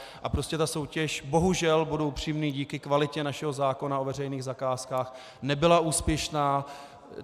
A prostě ta soutěž, bohužel, budu upřímný, díky kvalitě našeho zákona o veřejných zakázkách nebyla úspěšná.